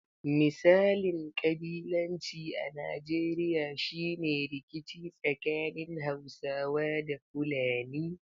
Misalin ƙabilanci a Najeriya shi ne rikici tsakanin Hausawa da Fulani.